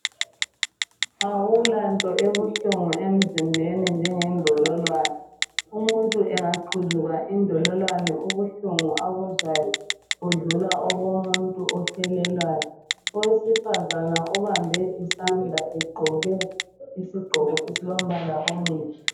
Akulanto ebuhlungu emzimbeni njengendololwane umuntu engaqhuzuka indololwane ubuhlungu abuzwayo budlula obomuntu ohelelwayo owesifazana ubambe isandla egqoke isigqoko esilombala omuhle.